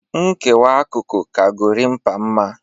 Nkewa akụkụ ka Gorimpa mma